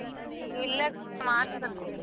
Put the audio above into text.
ಇಲ್ಲ ಮಾಡ್ಸಬೇಕು.